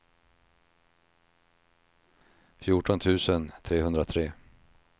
fjorton tusen trehundratre